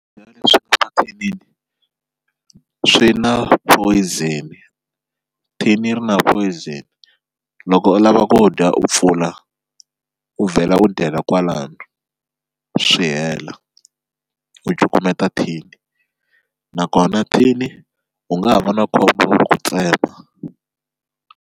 Swakudya leswi nga mathinini swi na poison thini ri na poison loko u lava ku dya u pfula u vhela u dyela kwalano swi hela u cukumeta tin nakona tin u nga ha va na khombo wa ku ti tsema.